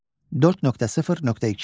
4.0.2.